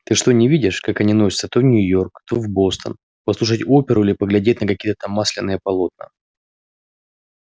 ты что не видишь как они носятся то в нью-йорк то в бостон послушать оперу или поглядеть на какие-то там масляные полотна